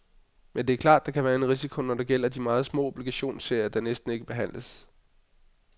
Men det er klart, at der kan være en risiko, når det gælder de meget små obligationsserier, der næsten ikke handles.